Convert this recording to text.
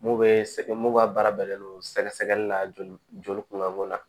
Mun bɛ sɛ mun ka baara bɛnnen don sɛgɛsɛgɛli la joli kunbɛko na